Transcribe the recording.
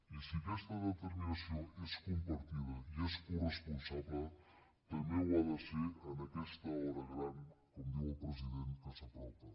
i si aquesta determinació és compartida i és coresponsable també ho ha de ser en aquesta hora gran com diu el president que s’apropa